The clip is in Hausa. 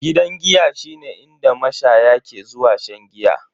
Gidan giya shine inda mashaya ke zuwa shan giya.